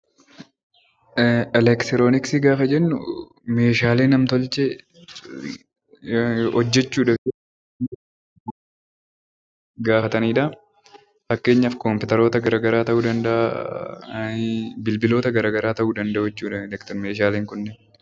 Eleektirooniksii gaafa jennu, Meeshaalee nam-tolchee hojjechuuf gaafatanidha. Fakkeenyaaf kompiitaroota garaagaraa ta'uu danda'a, bilbiloota garaagaraa ta'uu danda'u jechuudha Meeshaaleen kunniin.